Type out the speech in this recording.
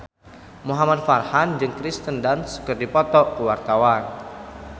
Muhamad Farhan jeung Kirsten Dunst keur dipoto ku wartawan